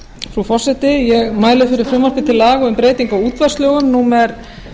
frú forseti ég mæli fyrir frumvarpi til laga um breytingu á útvarpslögum númer